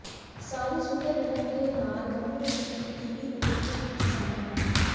ਸਾਰੇ ਸੁਵਿਧਾਜਨਕ ਦੇ ਨਾਲ ਕਮਰੇ ਵਿੱਚ ਇੱਕ ਟੀ ਵੀ ਅਤੇ ਫਰਿੱਜ ਵਿੱਚ ਸ਼ਾਮਲ ਹਨ